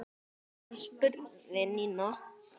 Ertu að fara? spurði Nína.